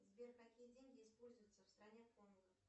сбер какие деньги используются в стране конго